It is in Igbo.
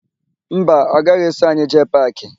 Mba, ọ gaghị eso anyị jee paakị.